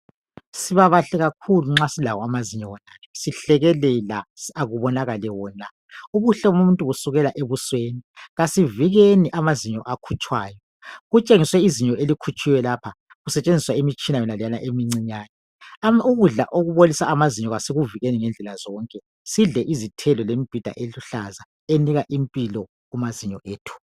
Sibabahle kakhulu nxa silawo amazinyo wonawo sihlekelela kubonakale wona. Ubuhle bomuntu kusukela ebusweni kasivikeni amazinyo akhutshwayo. Kutshengiswe izinyo elikhitshiweyo lapha kusetshenziswa imitshina yonaleyana emicinyane. Ukudla okubolisa amazinyo asikuvikeni ngedlela zonke sihle izithelo lemibhida eluhlaza enika impilo kumazinyo ethu.